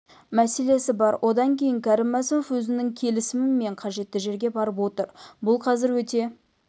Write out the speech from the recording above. мәселесі бар одан кейін кәрім мәсімов өзінің келісімімен қажетті жерге барып отыр бұл қазір өте